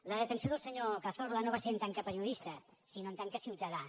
la detenció del senyor cazorla no va ser en tant que pe·riodista sinó en tant que ciutadà